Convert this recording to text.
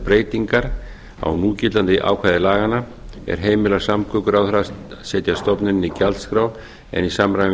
breytingar á núgildandi ákvæði laganna er heimila samgönguráðherra að setja stofnuninni gjaldskrá en í samræmi við